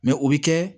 Mɛ o bɛ kɛ